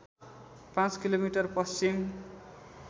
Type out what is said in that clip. पाँच किलोमिटर पश्चिम